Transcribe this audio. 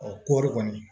kɔɔri kɔni